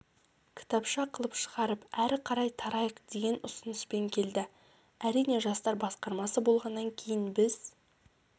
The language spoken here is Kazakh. кітапша қылып шығарып әрі қарай тарайық деген ұсыныспен келді әрине жастар басқармасы болғаннан кейін біз